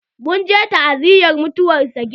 Mun je ta'aziyar mutuwan sagir.